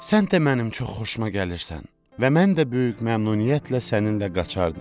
Sən də mənim çox xoşuma gəlirsən və mən də böyük məmnuniyyətlə səninlə qaçardım.